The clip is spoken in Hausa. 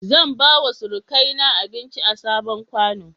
Zan bawa surukaina abinci a sabon ƙwano.